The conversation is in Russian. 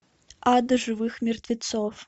ад живых мертвецов